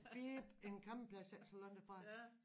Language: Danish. Bip en campingplads ikke så langt herfra